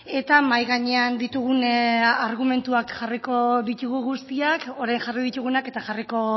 eta mahai gainean ditugun argumentuak jarriko ditugu guztiak orain jarri ditugunak eta jarriko